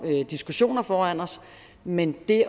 diskussioner foran os men det